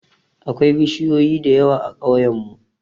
Akwai bishiyoyi da yawa a ƙauyen mu